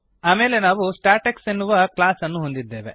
ಆಮೇಲೆ ನಾವು ಸ್ಟಾಟೆಕ್ಸ್ ಎನ್ನುವ ಕ್ಲಾಸ್ ಅನ್ನು ಹೊಂದಿದ್ದೇವೆ